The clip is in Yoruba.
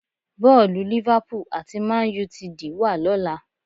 Bọ́ọ̀lù Liverpool àti Man Utd wà lọ́la